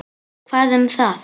Hvað um það.